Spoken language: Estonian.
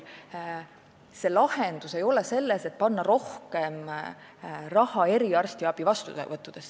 Lahendus ei ole selles, kui panna rohkem raha eriarstiabi vastuvõttudesse.